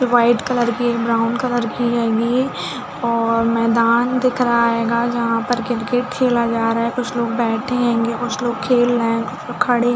White colour की एक brown colour की है ये और मैदान दिख रहा है जहाँ पर क्रिकेट खेला जा रहा है कुछ लोग बैठे है कुछ लोग खेल रहे है कुछ खड़े है।